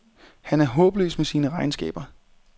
Han er håbløs med sine regnskaber.